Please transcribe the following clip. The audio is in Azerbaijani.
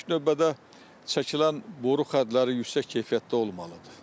İlk növbədə çəkilən boru xəttləri yüksək keyfiyyətdə olmalıdır.